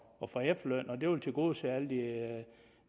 at få efterløn og det vil tilgodese alle